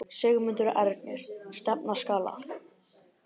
Sigmundur Ernir: Stefna skal að?